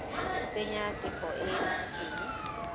tsenya tefo e e laotsweng